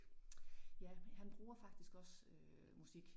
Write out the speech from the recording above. Ja, han bruger faktisk også øh musik